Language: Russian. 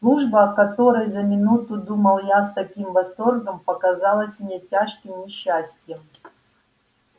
служба о которой за минуту думал я с таким восторгом показалась мне тяжким несчастьем